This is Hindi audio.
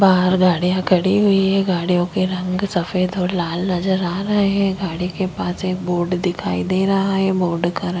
बाहर गाड़िया खड़ी हुई है गाडियों के रंग सफ़ेद और लाल नजर आ रहा है गाड़ी के पास एक बोर्ड दिखाई दे रहा है बोर्ड का रं --